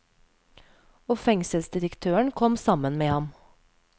Og fengselsdirektøren kom sammen med ham.